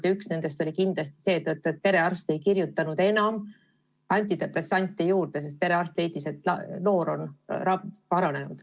Ja üks nendest oli kindlasti sellepärast, et perearst ei kirjutanud enam antidepressante juurde, sest ta leidis, et noor on paranenud.